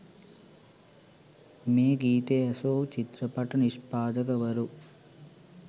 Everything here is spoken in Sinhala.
මේ ගීතය ඇසූ චිත්‍රපට නිෂ්පාදකවරු